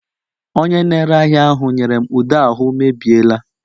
Onye na-ere ahịa ahụ nyere m ude ahụ mebiela